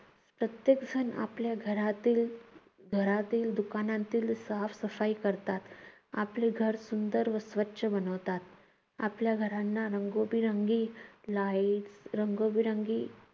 प्रत्येक जण आपल्या घरातील, घरातील दुकानातील साफसफाई करतात. आपले घर सुंदर व स्वच्छ बनवतात. आपल्या घरांना रंगबेरंगी लाईट्स, रंगबेरंगी